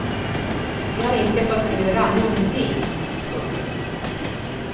Vi har inte fått röra någonting. punkt